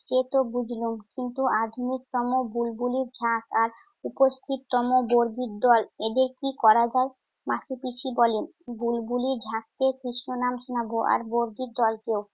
সে তো বুঝলুম, কিন্তু আদিমতম বুল্বুলির ঝাঁক আর উপস্থিততম বর্গির দল এদের কি করা যায়? মাসিপিসি বলে, বুল্বুলির ঝাঁককে কেষ্টনাম শোনাবো আর বর্গির দলকেও।